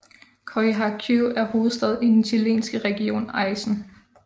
Coyhaique er hovedstad i den chilenske region Aisén